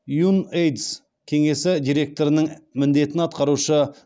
юнэйдс кеңесі директорының міндетін атқарушы